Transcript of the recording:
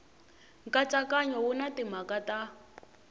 nkatsakanyo wu na timhaka ta